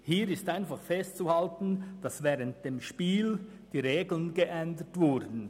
Dazu ist festzuhalten, dass während des Spiels die Regeln geändert wurden.